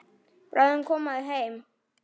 Bráðum koma þau heim.